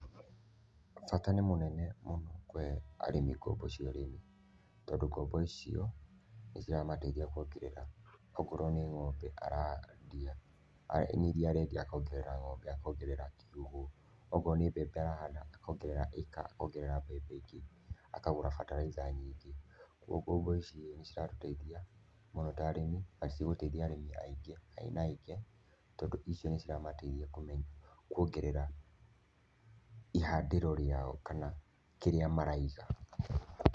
Bata ni mũnene mũno kũhe arĩmi ngombo cia ũrĩmi, tondũ ngombo icio nĩciramateithia kwongerera ũkorwo ni ngombe arendia ni iria arendia akongerera kiugũ, okorwo ni mbembe arahanda akongerera ĩka akongerera mbebe ingĩ, akagũra bataraica nyingĩ. Kwoguo ngombo ici niciratũtethia mũno ta arĩmi, na nicigũteithia arĩmi aingĩ aĩna aingĩ, tondũ icio niciramteithia kwongerera ihandĩro rĩao kana kĩrĩa maraiga.